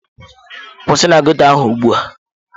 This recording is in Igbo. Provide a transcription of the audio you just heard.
Kwụsị na ghetto ahụ ugbu a!